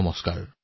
নমস্কাৰ